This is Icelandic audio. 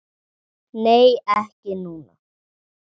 Nei, ekki núna.